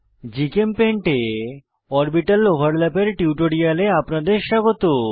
GChemPaint এ orbital overlap এর টিউটোরিয়ালে আপনাদের স্বাগত